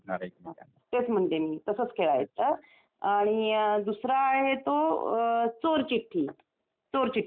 तेच म्हणते मी तसंच खेळायच आणि दुसरा आहे तो चोर चिठ्ठी, चोर चिठ्ठीचा खेळ.